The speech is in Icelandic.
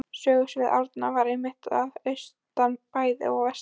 Sögusvið Árna er einmitt að austan bæði og vestan